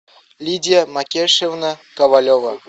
лидия макешевна ковалева